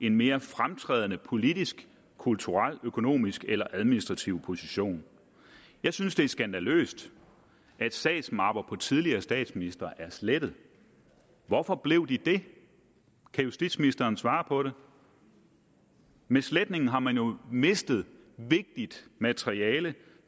en mere fremtrædende politisk kulturel økonomisk eller administrativ position jeg synes det er skandaløst at sagsmapper på tidligere statsministre er blevet slettet hvorfor blev de det kan justitsministeren svare på det med sletningen har man jo mistet vigtigt materiale